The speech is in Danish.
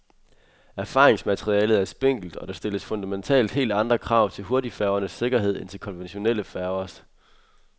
Erfaringsmaterialet er spinkelt, og der stilles fundamentalt helt andre krav til hurtigfærgernes sikkerhed end til konventionelle færgers.